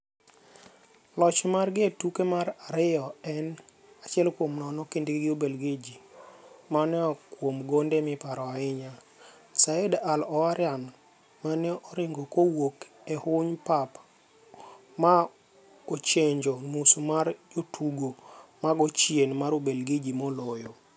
KLoch margi e tukgi mar ariyo en , 1-0 kindgi gi Ubelgiji, mane oa kuom gonde miparo ahinya - Saeed Al Owairan mane oringo kowuok e huny pap ma ochenjo nus mar jotugo mago chien mar Ubelgiji moloyo.